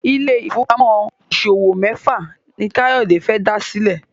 Ile-ifowopamọ ìṣòwò méfà ní Kayode fè dá sílè.